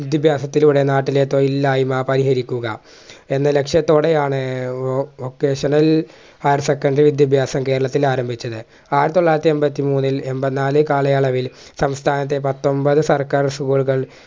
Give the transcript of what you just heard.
വിദ്യഭ്യാസത്തിലൂടെ നാട്ടിലേ തൊഴിലില്ലായ്മ പരിഹരിക്കുക എന്ന ലക്ഷ്യത്തോടെയാണ് വോ vocational higher secondary വിദ്യഭ്യാസം കേരളത്തിലാരംഭിച്ചത് ആയിരത്തൊള്ളായിരത്തി എൺപത്തിമൂന്നിൽ എൺപതിനാല് കാലയളവിൽ സംസ്ഥാനത്തെ പത്തൊമ്പത് സർക്കാർ school കൾ